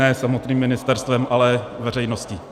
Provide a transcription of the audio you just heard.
Ne samotným ministerstvem, ale veřejností.